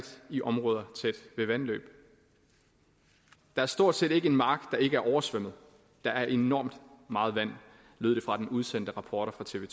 i områder tæt ved vandløb der er stort set ikke en mark der ikke er oversvømmet der er enormt meget vand lød det fra den udsendte rapporter fra tv